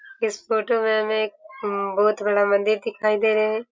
इस फोटो में हमें एक बहुत बड़ा मंदिर दिखाई दे रहे है।